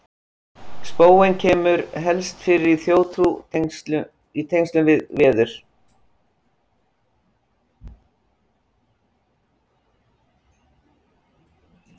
Spóinn kemur helst fyrir í þjóðtrú í tengslum við veður.